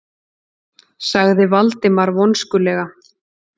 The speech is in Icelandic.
sagði Valdimar vonskulega.